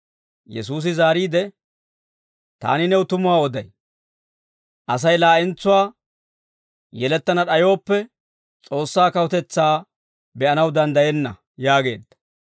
Yesuusi zaariide, «Taani new tumuwaa oday; Asay laa'entsuwaa yelettana d'ayooppe, S'oossaa kawutetsaa be'anaw danddayenna» yaageedda.